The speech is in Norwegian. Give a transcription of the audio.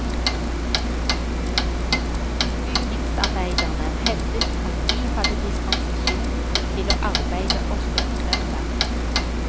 Bygningsarbeiderne hevdet at de hadde dispensasjon til å arbeide også på søndag.